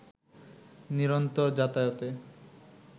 নিরন্তর যাতায়াতে